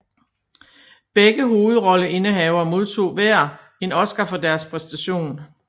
Begge hovedrolleindehavere modtog hver en Oscar for deres præstation